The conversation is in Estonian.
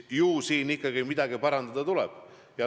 Ju siin ikkagi midagi parandada tuleb.